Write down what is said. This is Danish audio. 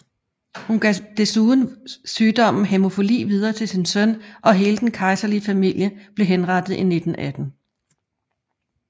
Hun gav desuden sygdommen hæmofili videre til sin søn og hele den kejserlige familie blev henrettet i 1918